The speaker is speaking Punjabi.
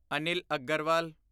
ਅਨਿਲ ਅਗਰਵਾਲ